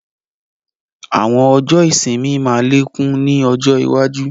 Àwọn ọjọ́ ìsinmi máa lékún ni ọjọ́ iwaju